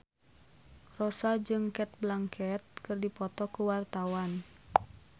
Rossa jeung Cate Blanchett keur dipoto ku wartawan